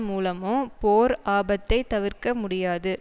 மூலமோ போர் ஆபத்தை தவிர்க்க முடியாது